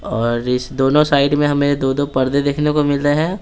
और इस दोनों साइड में हमें दो-दो पर्दे देखने को मिल रहे हैं।